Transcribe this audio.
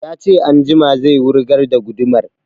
Ya ce anjima zai wurgar da gudumar